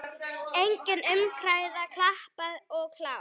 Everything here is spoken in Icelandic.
Engin umræða, klappað og klárt.